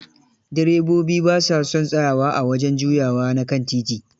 Direbobi ba sa son tsayawa a wajen juyawa na kan titi.